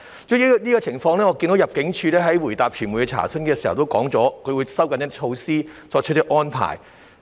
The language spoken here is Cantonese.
主席，關於這個情況，我看到入境處在回答傳媒查詢時表示，會收緊措施及作出一些安排。